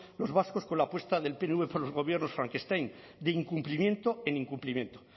los vascos con la apuesta del pnv por los gobiernos frankenstein de incumplimiento en incumplimiento